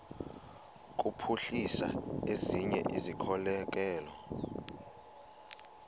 kuphuhlisa ezinye izikhokelo